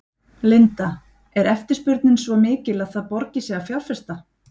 Linda: Er eftirspurnin svo mikil að það borgi sig að fjárfesta?